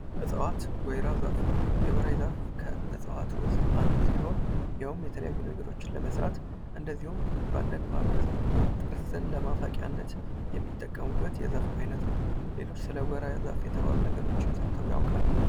እፀዋት ወይራ ዛፍ የወይራ ዛፍ አንድ ሲሆን ይኸውም የተለያዩ ነገሮችን ለመስራት በአንዳንድ የማህበረሰብ ክፍሎች ለትርስ መፍቂያነት ያገለግላል ሰለ ወይራ ዛፍ ሌላ የሚያውቁት የሰሙት ነገር አለ?